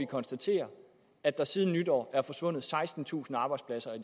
konstatere at der siden nytår er forsvundet sekstentusind arbejdspladser i